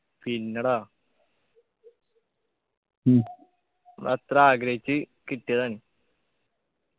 പിന്നെ ടാ അത്ര ആഗ്രഹിച്ചു കിട്ടിയതാണ്